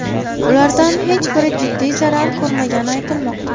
Ulardan hech biri jiddiy zarar ko‘rmagani aytilmoqda.